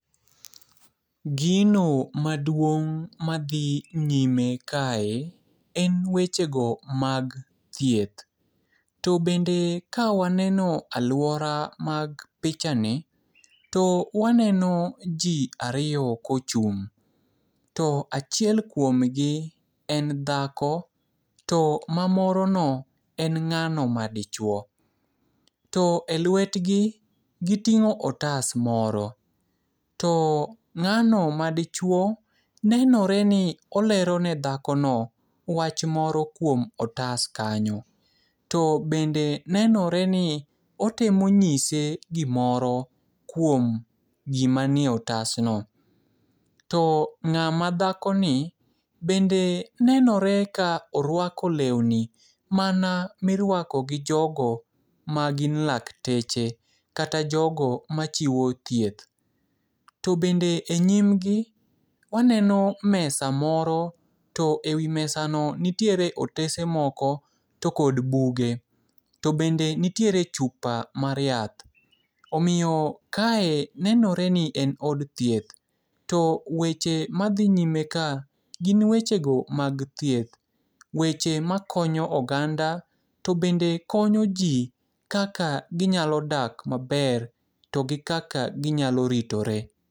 Gino maduong' madhi nyime kae, en wechego mag thieth. To bende ka waneno aluora mag pichani. To waneno ji ariyo kochung'. To achiel kuomgi en dhako, to mamorono en ng'ano madichuo. To e lwetgi giting'o otas moro. To ng'ano madichuo nenoreni olerone dhakono wach moro kuom otas kanyo. To bende nenoreni otimo nyise gimoro kuom gima nie otasno. To ng'ama dhakoni bende nenore ka oruako leuni mana miruako gi jogo magin lakteche kata jogo machiwo thieth. To bende e nyimgi, waneno mesa moro, to e wi mesano nitiere otese moko, to kod buge. To bende nitiere chupa mar nyath. Omiyo kae nenoreni en od thieth. To weche madhi nyime ka gin wechego mag thieth. Weche makonyo oganda, to bende konyo ji kaka ginyalo dak maber. To gi kaka ginyalo ritore.